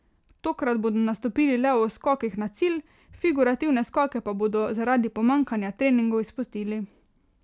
Tokrat bodo nastopili le v skokih na cilj, figurativne skoke pa bodo zaradi pomanjkanja treningov izpustili.